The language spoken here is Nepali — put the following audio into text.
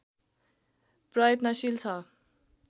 प्रयत्नशील छ